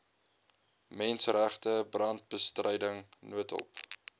menseregte brandbestryding noodhulp